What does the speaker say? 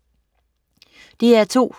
DR2: